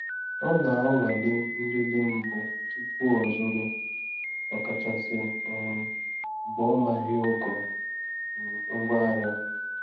Ọ na-anwale nlele mbụ tupu ọzụrụ, ọkachasị um mgbe ọ maghị ogo um ngwaahịa.